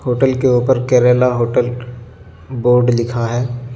Hotel के ऊपर Kerala hotel board लिखा हे.